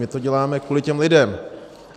My to děláme kvůli těm lidem.